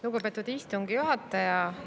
Lugupeetud istungi juhataja!